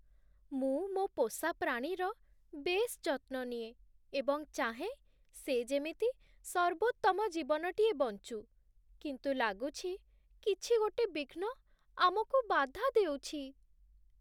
ମୁଁ ମୋ' ପୋଷା ପ୍ରାଣୀର ବେଶ୍ ଯତ୍ନ ନିଏ ଏବଂ ଚାହେଁ ସେ ଯେମିତି ସର୍ବୋତ୍ତମ ଜୀବନଟିଏ ବଞ୍ଚୁ, କିନ୍ତୁ ଲାଗୁଛି କିଛି ଗୋଟେ ବିଘ୍ନ ଆମକୁ ବାଧା ଦେଉଛି।